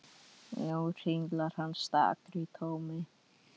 Nú hringlar hann stakur í tómi.